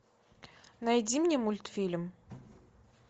найди мне мультфильм